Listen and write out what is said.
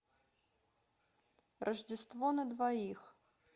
рождество на двоих